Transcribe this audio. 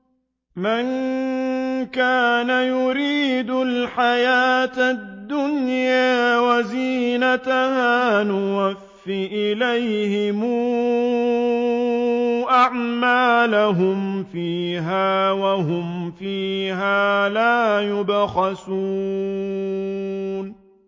مَن كَانَ يُرِيدُ الْحَيَاةَ الدُّنْيَا وَزِينَتَهَا نُوَفِّ إِلَيْهِمْ أَعْمَالَهُمْ فِيهَا وَهُمْ فِيهَا لَا يُبْخَسُونَ